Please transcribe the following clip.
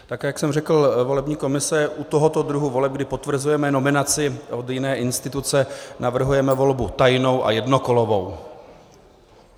Tak jak jsem řekl, volební komise u tohoto druhu voleb, kdy potvrzujeme nominaci od jiné instituce, navrhuje volbu tajnou a jednokolovou.